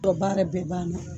baarɛ bɛɛ ban na.